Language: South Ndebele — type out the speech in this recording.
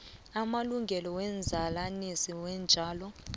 samalungelo womzalanisi weentjalo